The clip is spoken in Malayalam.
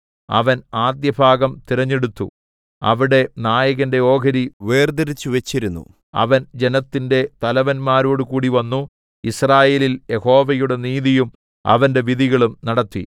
അവൻ ആദ്യഭാഗം തിരഞ്ഞെടുത്തു അവിടെ നായകന്റെ ഓഹരി വേർതിരിച്ച് വച്ചിരുന്നു അവൻ ജനത്തിന്റെ തലവന്മാരോടുകൂടി വന്നു യിസ്രായേലിൽ യഹോവയുടെ നീതിയും അവന്റെ വിധികളും നടത്തി